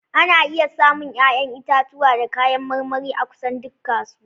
Ana iya samun 'ya'yan itatuwa da kayan marmari a kusan duk kasuwa.